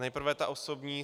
Nejprve ta osobní.